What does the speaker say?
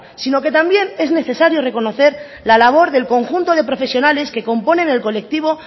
sino que también es necesario reconocer la labor del conjunto de profesionales que componen el colectivo